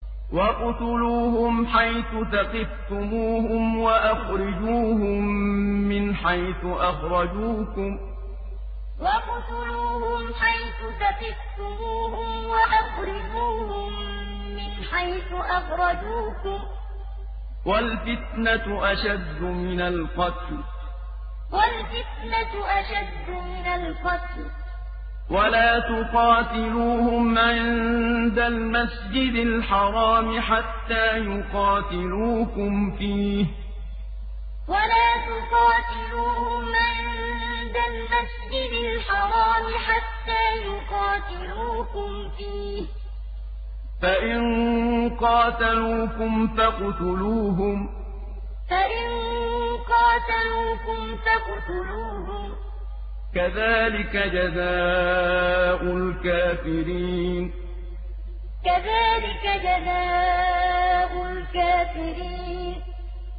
وَاقْتُلُوهُمْ حَيْثُ ثَقِفْتُمُوهُمْ وَأَخْرِجُوهُم مِّنْ حَيْثُ أَخْرَجُوكُمْ ۚ وَالْفِتْنَةُ أَشَدُّ مِنَ الْقَتْلِ ۚ وَلَا تُقَاتِلُوهُمْ عِندَ الْمَسْجِدِ الْحَرَامِ حَتَّىٰ يُقَاتِلُوكُمْ فِيهِ ۖ فَإِن قَاتَلُوكُمْ فَاقْتُلُوهُمْ ۗ كَذَٰلِكَ جَزَاءُ الْكَافِرِينَ وَاقْتُلُوهُمْ حَيْثُ ثَقِفْتُمُوهُمْ وَأَخْرِجُوهُم مِّنْ حَيْثُ أَخْرَجُوكُمْ ۚ وَالْفِتْنَةُ أَشَدُّ مِنَ الْقَتْلِ ۚ وَلَا تُقَاتِلُوهُمْ عِندَ الْمَسْجِدِ الْحَرَامِ حَتَّىٰ يُقَاتِلُوكُمْ فِيهِ ۖ فَإِن قَاتَلُوكُمْ فَاقْتُلُوهُمْ ۗ كَذَٰلِكَ جَزَاءُ الْكَافِرِينَ